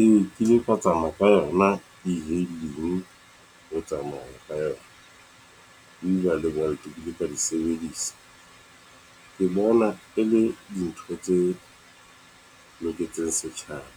Ee, ke ile ka tsamaya ka yona e-hailing ho tsamaya ka yona, Uber le Bolt ke ile ka di sebedisa. Ke bona e le di ntho tse loketseng setjhaba